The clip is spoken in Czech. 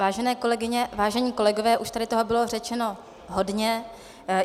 Vážené kolegyně, vážení kolegové, už tady toho bylo řečeno hodně.